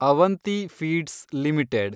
Avanti feeds limited